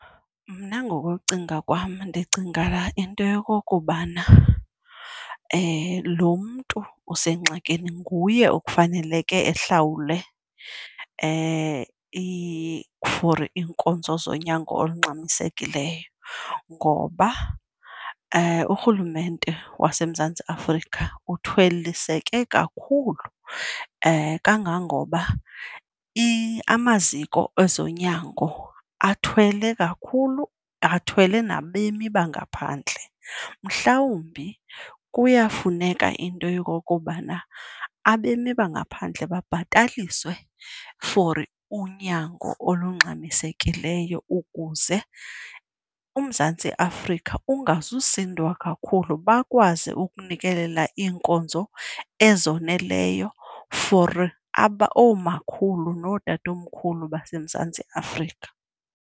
Mna ngokokucinga kwam ndicinga into yokokubana lo mntu usengxakini nguye ekufaneleke ehlawule for iinkonzo zonyango olungxamisekileyo ngoba urhulumente waseMzantsi Afrika uthweliseke kakhulu, kangangoba amaziko ezonyango athwele kakhulu athwele nabemi bangaphandle. Mhlawumbi kuyafuneka into yokokubana abemi bangaphandle babhataliswe for unyango olungxamisekileyo ukuze uMzantsi Afrika ungazusindwa kakhulu, bakwazi ukunikelela iinkonzo ezoneleyo for oomakhulu nootatomkhulu baseMzantsi Afrika.